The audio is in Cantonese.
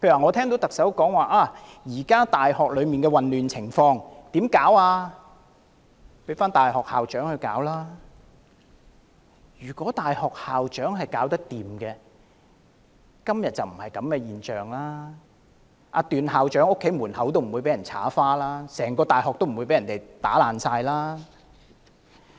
例如特首說現時在大學出現的混亂情況，要交由大學校長處理，但大學校長如能處理，便不會出現今天的現象，段校長的家門遭到塗鴉，整間大學也被破壞。